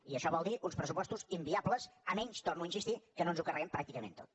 i això vol dir uns pressupostos inviables a menys hi torno a insistir que no ens ho carreguem pràcticament tot